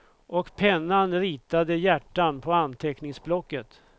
Och pennan ritade hjärtan på anteckningsblocket.